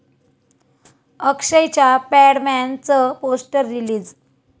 अक्षयच्या 'पॅडमॅन'चं poster release